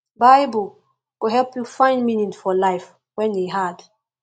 bible go help yu find meaning for life wen e hard